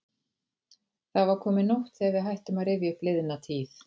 Það var komin nótt þegar við hættum að rifja upp liðna tíð.